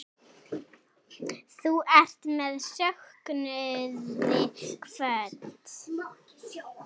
Þú ert með söknuði kvödd.